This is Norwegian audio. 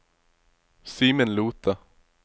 Simen Lothe